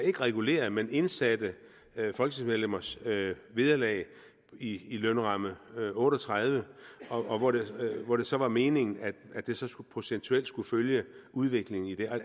ikke regulerede men indsatte folketingsmedlemmers vederlag i i lønramme otte og tredive og hvor det så var meningen at det så procentuelt skulle følge udviklingen